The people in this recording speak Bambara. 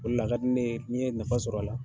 O la a ka di ne ye ni n ye nafa sɔrɔ a la.